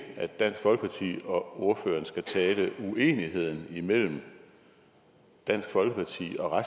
at dansk folkeparti og ordføreren skal tale uenigheden imellem dansk folkeparti og